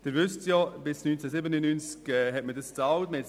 Sie wissen, dass die Schülertransporte bis 1997 bezahlt wurden.